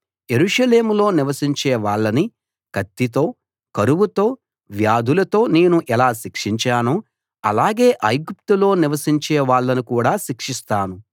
యెరూషలేములో నివసించే వాళ్ళని కత్తితో కరువుతో వ్యాధులతో నేను ఎలా శిక్షించానో అలాగే ఐగుప్తులో నివసించే వాళ్ళను కూడా శిక్షిస్తాను